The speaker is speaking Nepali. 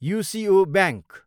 UCO bank